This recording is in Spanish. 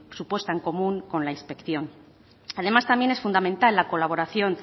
su puesta en común con la inspección además también es fundamental la colaboración